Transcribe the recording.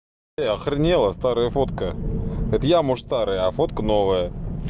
эи охренела старая фотка это я может старый а фотка новая